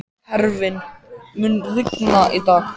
Hervin, mun rigna í dag?